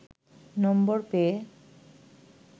নম্বর পেয়ে